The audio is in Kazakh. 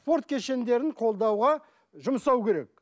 спорт кешендерін қолдауға жұмсау керек